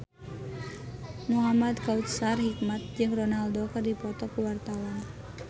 Muhamad Kautsar Hikmat jeung Ronaldo keur dipoto ku wartawan